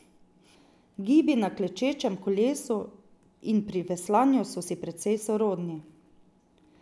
Gibi na klečečem kolesu in pri veslanju so si precej sorodni.